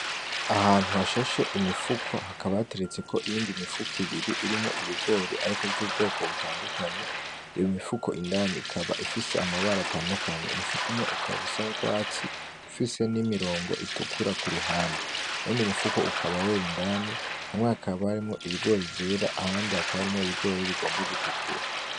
Ahantu hashashe imifuko hakaba hateretseko iyindi mifuko ibiri irimwo ibigori ariko vy'ubwoko butadukanye, imifuko indani ikaba ifise amabara atadukanye umufuko umwe ukaba usa n’urwatsi ufise nimirongo itukura kuruhande, iyundi mufuko ukaba wera indani hamwe hakaba harimwo ibigori vyera ahandi hakaba ibigori bigomba gutukura.